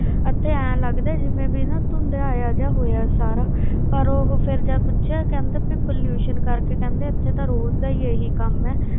ਅਤੇ ਇਉਂ ਲੱਗਦਾ ਜਿਵੇਂ ਵੀ ਨਾ ਧੁੰਦਿਆਇਆ ਜਿਹਾ ਹੋਇਆ ਸਾਰਾ ਪਰ ਉਹ ਫਿਰ ਜਦ ਪੁੱਛਿਆ ਕਹਿੰਦੇ ਵੀ pollution ਕਰਕੇ ਕਹਿੰਦੇ ਇੱਥੇ ਤਾਂ ਰੋਜ਼ ਦਾ ਹੀ ਇਹੀ ਕੰਮ ਹੈ,